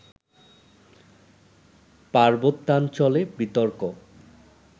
পার্বত্যাঞ্চলে বিতর্ক